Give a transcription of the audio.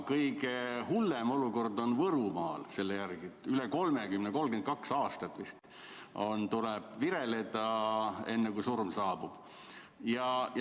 Kõige hullem olukord on selle järgi Võrumaal: üle 30 aasta, 32 aastat vist tuleb vireleda, enne kui surm saabub.